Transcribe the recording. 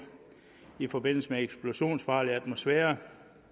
i forbindelse med eksplosionsfarlig atmosfære